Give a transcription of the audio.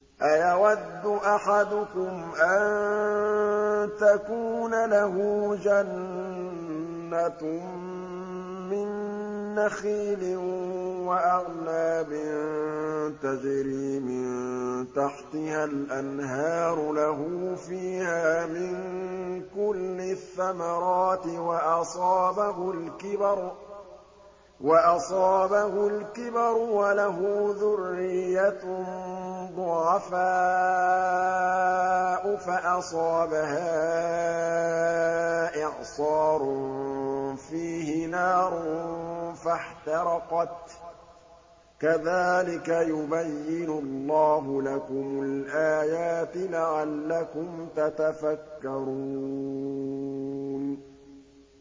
أَيَوَدُّ أَحَدُكُمْ أَن تَكُونَ لَهُ جَنَّةٌ مِّن نَّخِيلٍ وَأَعْنَابٍ تَجْرِي مِن تَحْتِهَا الْأَنْهَارُ لَهُ فِيهَا مِن كُلِّ الثَّمَرَاتِ وَأَصَابَهُ الْكِبَرُ وَلَهُ ذُرِّيَّةٌ ضُعَفَاءُ فَأَصَابَهَا إِعْصَارٌ فِيهِ نَارٌ فَاحْتَرَقَتْ ۗ كَذَٰلِكَ يُبَيِّنُ اللَّهُ لَكُمُ الْآيَاتِ لَعَلَّكُمْ تَتَفَكَّرُونَ